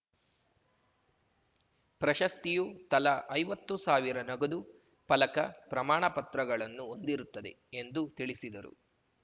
ಪ್ರಶಸ್ತಿಯು ತಲಾ ಐವತ್ತು ಸಾವಿರ ನಗದು ಫಲಕ ಪ್ರಮಾಣ ಪತ್ರಗಳನ್ನು ಹೊಂದಿರುತ್ತದೆ ಎಂದು ತಿಳಿಸಿದರು